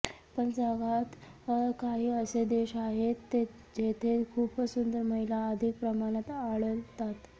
पण जगात काही असे देश आहेत जेथे खुपच सुंदर महिला अधिक प्रमाणात आढळतात